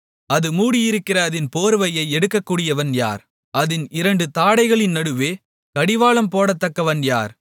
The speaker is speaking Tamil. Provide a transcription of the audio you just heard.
அது மூடியிருக்கிற அதின் போர்வையைக் எடுக்கக்கூடியவன் யார் அதின் இரண்டு தாடைகளின் நடுவே கடிவாளம் போடத்தக்கவன் யார்